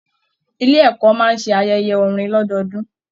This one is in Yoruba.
Ilé ẹkọ máa ṣe ayẹyẹ orin lọdọọdun.